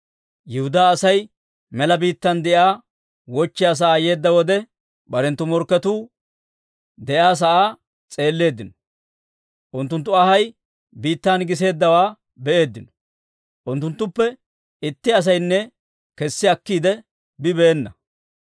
Yihudaa Asay mela biittaan de'iyaa wochchiyaa sa'aa yeedda wode, barenttu morkketuu de'iyaa sa'aa s'eelleeddino; unttunttu anhay biittan giseeddawaa be'eeddino. Unttunttuppe itti asaynne kessi akkiide bibeena.